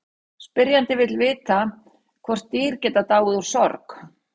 Spyrjandi vill vita hvort dýr geti dáið úr sorg.